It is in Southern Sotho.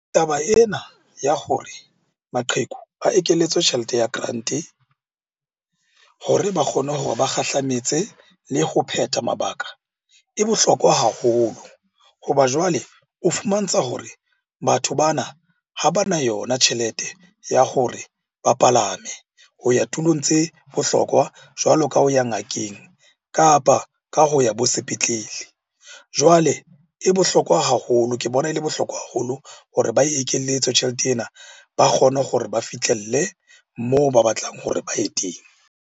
Taba ena ya hore maqheku a ekeletswe tjhelete ya grant-e hore ba kgone hore ba kgahlametse le ho phetha mabaka e bohlokwa haholo. Hoba jwale o fumantsha hore batho bana, ha bana yona tjhelete ya hore ba palame ho ya tulong tse bohlokwa jwalo ka ho ya ngakeng, kapa ka ho ya bo sepetlele. Jwale e bohlokwa haholo, ke bona e le bohlokwa haholo hore ba e ekelletswe tjhelete ena, ba kgone gore ba fihlelle moo ba batlang hore ba ye teng.